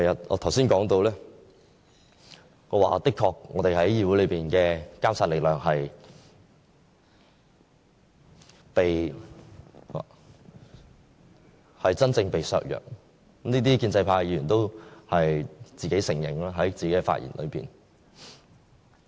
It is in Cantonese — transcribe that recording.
我剛才提到，我們在議會內的監察力量的確會被真正削弱，建制派議員亦在自己的發言中承認這點。